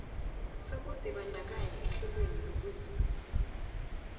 sokuzibandakanya ehlelweni lokuzuza